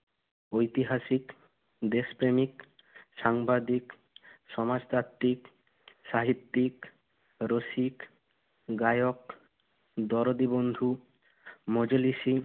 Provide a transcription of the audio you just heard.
ঐতিহাসিক, দেশপ্রেমিক, সাংবাদিক, সমাজতাত্ত্বিক, সাহিত্যিক, রসিক, গায়ক, দরদিবন্ধু, মজলিশি,